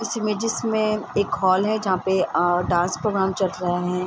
इस इमेजेस मे एक हॉल है जहाँ पे आ डांस प्रोग्राम चल रहे है।